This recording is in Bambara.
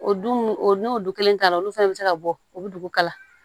O dun o n'o du kelen ta la olu fɛnɛ bɛ se ka bɔ o bɛ dugu kala